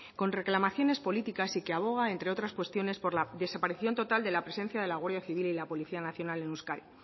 con reclamaciones políticas y que aboga entre otras cuestiones por la desaparición total de la presencia de la guardia civil y la policía nacional en euskadi